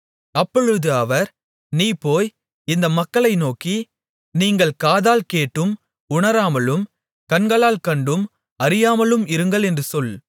அப்பொழுது அவர் நீ போய் இந்த மக்களை நோக்கி நீங்கள் காதால் கேட்டும் உணராமலும் கண்களால் கண்டும் அறியாமலும் இருங்கள் என்று சொல்